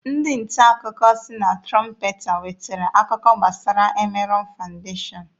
Ndị nta akụkọ sị na Trọmpeta nwetere akụkọ gbasara Emerọn Fandeshọn.